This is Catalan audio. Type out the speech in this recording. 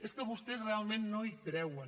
és que vostès realment no hi creuen